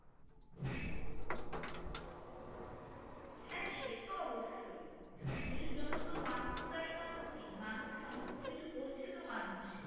হ্যাঁ সে তো অবশ্যই সবকিছুর জন্য তো মানুষ দায়ী নয় তো কি মানুষ সমস্ত কিছু করছে তো মানুষ